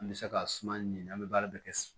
An bɛ se ka suma ɲini an bɛ baara bɛɛ kɛ